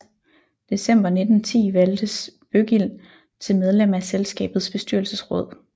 December 1910 valgtes Bøggild til medlem af selskabets bestyrelsesråd